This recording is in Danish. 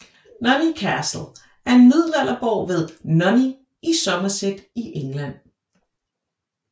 Nunney Castle er en middelalderborg ved Nunney i Somerset i England